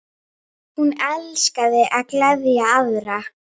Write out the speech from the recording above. Hún elskaði að gleðja aðra.